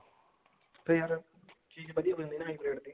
ਤੇ ਯਾਰ ਚੀਜ਼ ਵਧੀਆ ਬਣਦੀ ਹੈ high breed ਦੀ